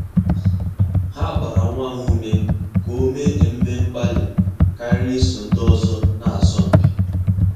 Há gbàrà nwa ha ume kà ọ́ mèé ememe mgbalị kàrị́rị́ ísò ndị ọzọ nà-ásọ́ mpi.